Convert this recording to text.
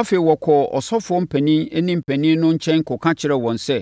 Afei, wɔkɔɔ asɔfoɔ mpanin ne mpanin no nkyɛn kɔka kyerɛɛ wɔn sɛ,